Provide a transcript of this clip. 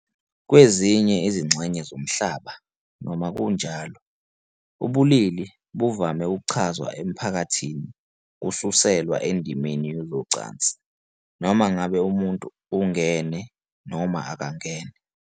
Kwezinye izingxenye zomhlaba, noma kunjalo, ubulili buvame ukuchazwa emphakathini kususelwa endimeni yezocansi, noma ngabe umuntu ungena noma ungene.